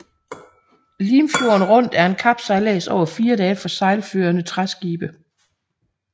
Limfjorden Rundt er en kapsejlads over fire dage for sejlførende træskibe